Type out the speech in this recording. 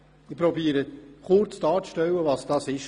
Ich versuche kurz darzustellen, was es ist.